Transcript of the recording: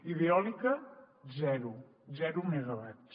i d’eòlica zero zero megawatts